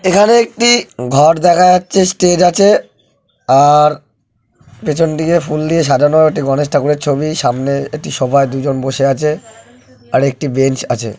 এখানে একটি ঘর দেখা যাচ্ছে স্টেজ আছে আর পেছন দিকে ফুল দিয়ে সাজানো একটি গণেশ ঠাকুরের ছবি। সামনে একটি সোফায় দুজন বসে আছে। আর একটি বেঞ্চ আছে।